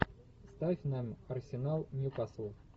ставь нам арсенал ньюкасл